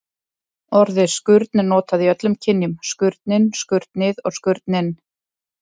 Orðið skurn er notað í öllum kynjum: skurnin, skurnið og skurninn.